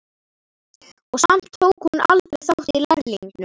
Og samt tók hún aldrei þátt í Lærlingnum.